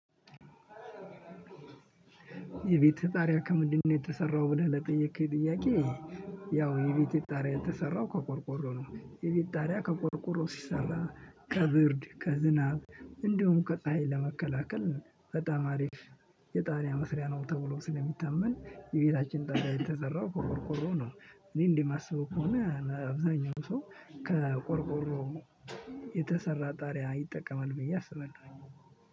የቤትህ ጣሪያ ከምንድነው የተሰራው ብለህ ለጠየከኝ ጥያቄ? ያው የቤቴ ጣሪያ የተሰራው ከቆርቆሮ ነው። የቤት ጣሪያ ከቆርቆሮ ሲሰራ ከብርድ ከዝናብ እንዲሁም ከፀሀይ ለመከላከል በጣም አሪፍ። የጣሪያ መስሪያ ነው ተብሎ ስለሚታመን የቤታችን ጣሪያ የተሰራው ከቆርቆሮ ነው። እኔ እንደማስበው ከሆነ አብዛኛው ሰው ከቆርቆሮ የተሰራ ጣሪያ ይጠቀማል ብዬ አስባለሁ።